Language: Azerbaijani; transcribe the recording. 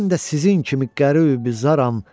Mən də sizin kimi qəribi zarram.